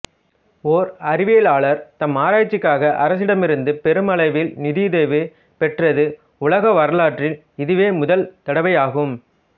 ஓர் அறிவியலளர் தம் ஆராய்ச்சிக்காக அரசிடமிருந்து பெருமளவில் நிதியுதவி பெற்றது உலக வரலாற்றில் இதுவே முதல் தடவை ஆகும்